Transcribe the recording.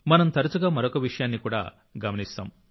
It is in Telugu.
మనం తరచుగా మరొక విషయాన్ని కూడా గమనిస్తాం